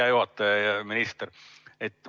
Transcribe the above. Hea juhataja ja minister!